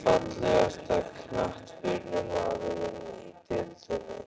Fallegasti knattspyrnumaðurinn í deildinni?